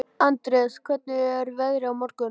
Andreas, hvernig er veðrið á morgun?